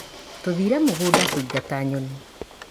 Tũthire mũgunda kũingata nyoni.